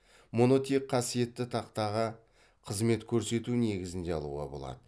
мұны тек қасиетті тақтаға қызмет көрсету негізінде алуға болады